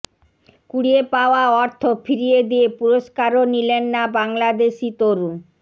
কুড়িয়ে পাওয়া অর্থ ফিরিয়ে দিয়ে পুরস্কারও নিলেন না বাংলাদেশি তরুণ